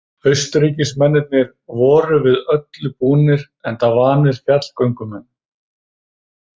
Austurríkismennirnir voru við öllu búnir enda vanir fjallagöngumenn.